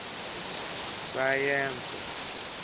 sayense